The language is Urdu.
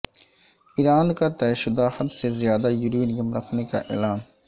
ایران کا طے شدہ حد سے زیادہ یورینیم رکھنے کا اعلان